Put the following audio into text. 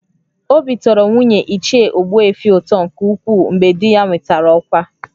Obi tọrọ nwunye Ichie Ogbuefi ụtọ nke ukwuu mgbe di ya nwetara ọkwa